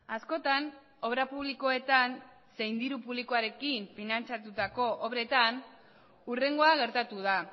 askotan obra publikoetan zein diru publikoarekin finantzatutako obretan hurrengoa gertatu da